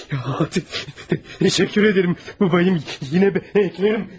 Təşəkkür edirəm babam, yenə gələrəm.